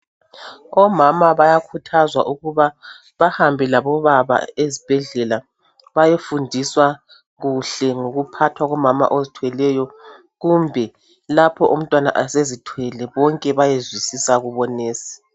Omama bayakhuthazwa ukuba bahambe labobaba ezibhedlela bayefundiswa kuhle ngokuphathwa komama ozithweleyo kumbe lapho umntwana esezithwele bonke bayezwisisa kubonesi.